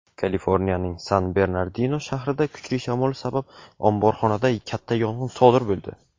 Kaliforniyaning San-Bernardino shahrida kuchli shamol sabab omborxonada katta yong‘in sodir bo‘ldi.